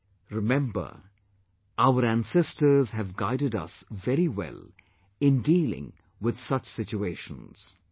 ' Remember, our ancestors have guided us very well in dealing with such situations